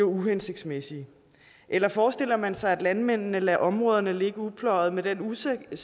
uhensigtsmæssige eller forestiller man sig at landmændene lader områderne ligge upløjet med den usikkerhed